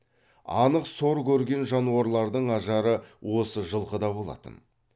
анық сор көрген жануарлардың ажары осы жылқыда болатын